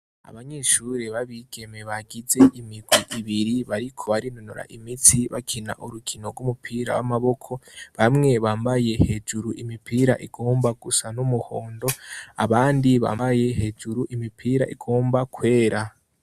Abanyishuri babigeme bagize imigwe ibiri bariko barinunura imitsi bakina urukino rw'umupira w'amaboko bamwe bambaye hejuru imipira igomba gusa n'umuhondo abandi bambaye hejuru imipira igomba kwera.